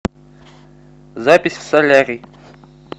запись в солярий